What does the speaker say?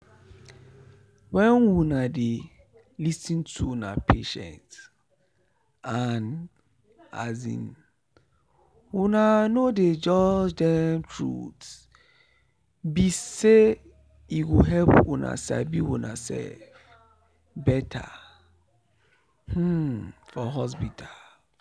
wen una dey lis ten to una patient and um una no dey judge them truth be sey e go help una sabi unasef better um for hospital.